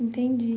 Entendi.